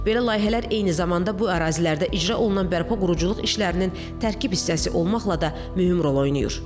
Belə layihələr eyni zamanda bu ərazilərdə icra olunan bərpa quruculuq işlərinin tərkib hissəsi olmaqla da mühüm rol oynayır.